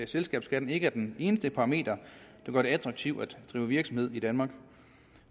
selskabsskatten ikke er den eneste parameter der gør det attraktivt at drive virksomhed i danmark